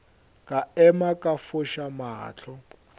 ka ema ka foša mahlo